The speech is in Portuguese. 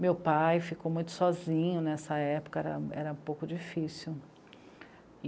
Meu pai ficou muito sozinho nessa época, era, era um pouco difícil.